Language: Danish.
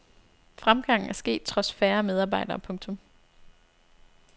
Fremgangen er sket trods færre medarbejdere. punktum